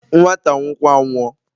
nwata anwụ kwa anwụọ